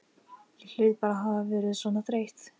Ég hlaut bara að hafa verið svona þreytt.